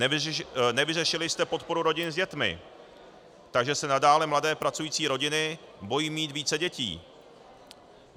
Nevyřešili jste podporu rodin s dětmi, takže se nadále mladé pracující rodiny bojí mít více dětí.